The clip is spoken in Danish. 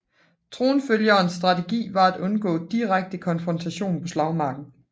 Tronfølgerens strategi var at undgå direkte konfrontationer på slagmarken